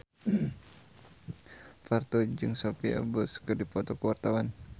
Parto jeung Sophia Bush keur dipoto ku wartawan